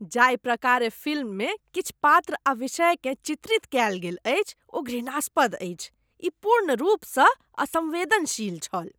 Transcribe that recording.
जाहि प्रकारेँ फिल्ममे किछु पात्र आ विषयकेँ चित्रित कयल गेल अछि ओ घृणास्पद अछि। ई पूर्ण रूपसँ असम्वेदनशील छल।